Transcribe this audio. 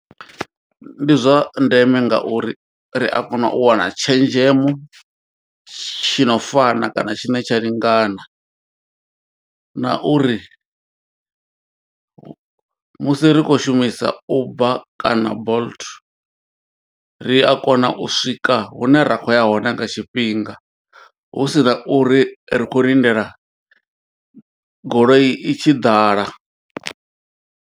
Ndi zwa ndeme ngauri ri a kona u wana tshenzhemo tshi no fana kana tshine tsha lingana na uri musi ri khou shumisa Uber kana Bolt. Ri a kona u swika hune ra kho ya hone nga tshifhinga husina uri ri kho lindela goloi i tshi ḓala.